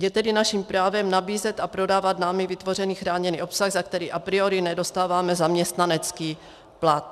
Je tedy naším právem nabízet a prodávat námi vytvořený chráněný obsah, za který a priori nedostáváme zaměstnanecký plat."